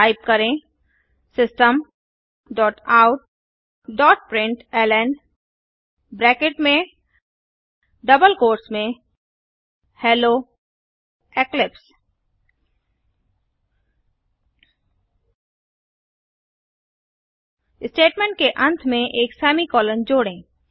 type करें systemoutप्रिंटलन hello Eclipse statement के अंत में एक सेमीकॉलन जोड़ें